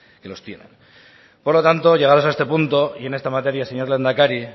que los tienen por lo tanto llegados a este punto y en esta materia señor lehendakari